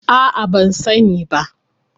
A'a ban sani ba.